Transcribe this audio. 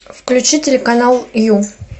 включи телеканал ю